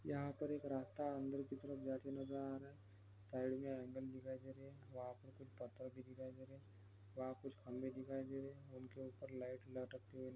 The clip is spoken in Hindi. यहाँ पर एक रास्ता अंदर की तरफ जाते नजर आ रहा है साइड में हैंडल दिखाई दे रहे है| वहाँ पर कुछ पत्थर भी दिखाई दे रहे है वहाँ कुछ खंबे दिखाई दे रहे हैं उनके ऊपर लाइट लटकते हुए--